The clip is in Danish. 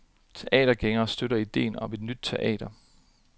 Teatergængerne støtter idéen om et nyt teater.